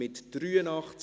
Ja / Oui Nein /